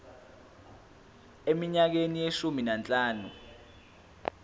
eminyakeni eyishumi nanhlanu